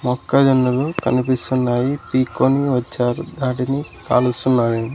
మొక్క జొన్నలు కనిపిస్తున్నాయి పీక్కొని వచ్చారు వాటిని కాలుస్తున్నావీ.